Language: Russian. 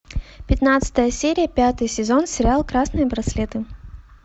пятнадцатая серия пятый сезон сериал красные браслеты